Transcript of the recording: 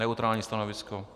Neutrální stanovisko.